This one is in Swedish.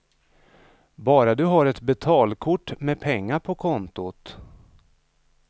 Bara du har ett betalkort med pengar på kontot.